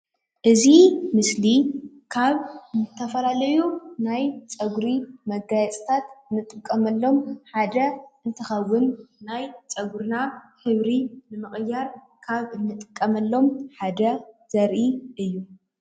እዚ ምስሊ ካብ ዝተፈላለዩ ናይ ፀጉሪ መጋየፅታት እንጥቀመሎም ሓደ እንትከውን ናይ ፀጉርና ሕብሪ ንምቅያር ካብ እንጥቀመሎም ሓደ ዘርኢ እዩ ።